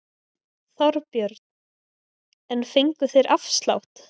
Þorbjörn: En fengu þeir afslátt?